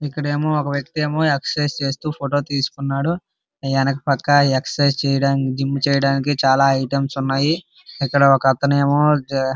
ఇక్కడేమో ఒక వ్యక్తి ఏమో ఎక్సైజ్ చేస్తూ ఫోటో తీసుకున్నాడు వెనక పక్క ఎక్సైజ్ చేయడానికి జిమ్ చేయడానికి చాలా ఐటమ్స్ ఉన్నాయి ఇక్కడ ఒక అతను ఏమో --